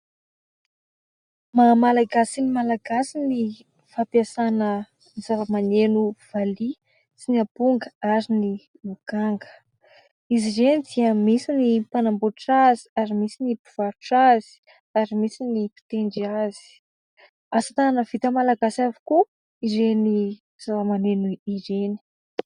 Maha malagasy ny Malagasy ny fampiasana ny zava-maneno valia sy ny amponga ary ny lokanga. Izy ireny dia misy ny mpanambotra azy ary misy ny mpivarotra azy ary misy ny mpitendry azy; asatanana vita malagasy avokoa ireny zavamaneno ireny.